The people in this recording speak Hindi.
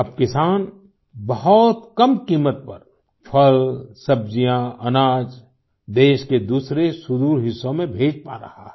अब किसान बहुत कम कीमत पर फल सब्जियाँ अनाज देश के दूसरे सुदूर हिस्सों में भेज पा रहा है